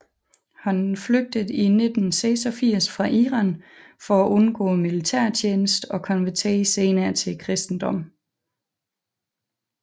Han flygtede i 1986 fra Iran for at undgå militærtjeneste og konverterede senere til kristendommen